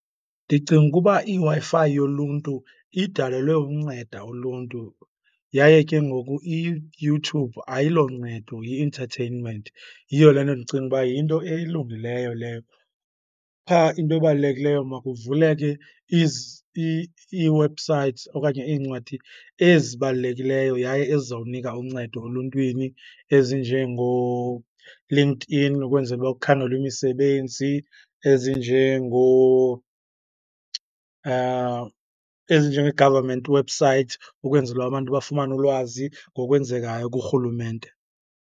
Ndicinga ukuba iWi-Fi yoluntu idalelwe unceda uluntu yaye ke ngoku iYouTube ayilo ncedo yi-entertainment. Yiyo le nto ndicinga uba yinto elungileyo leyo. Qha into ebalulekileyo makuvuleke ii-websites okanye iincwadi ezibalulekileyo yaye ezizawunika uncedo oluntwini ezinjengooLinkedIn ukwenzela uba kukhangelwe imisebenzi, ezinjenge-government websites, ukwenzela abantu bafumane ulwazi ngokwenzekayo kurhulumente.